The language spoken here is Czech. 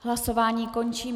Hlasování končím.